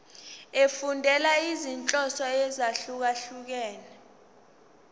efundela izinhloso ezahlukehlukene